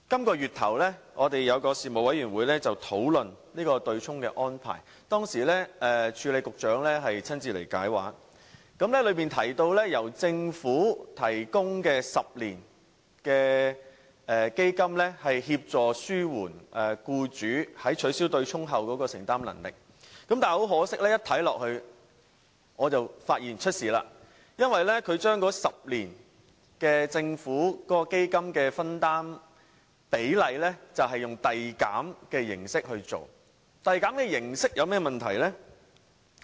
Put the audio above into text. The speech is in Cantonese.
本月初，有一個事務委員會討論對沖的安排，當時署理局長親自前來解畫，當中提及由政府提供10年基金，協助紓緩僱主在取消對沖後的承擔能力，但很可惜，我一看便發現不妥，因為政府的10年基金的分擔比例採用遞減形式，遞減形式有何問題呢？